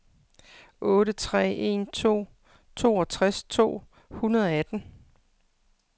otte tre en to toogtres to hundrede og atten